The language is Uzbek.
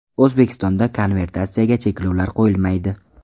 O‘zbekistonda konvertatsiyaga cheklovlar qo‘yilmaydi.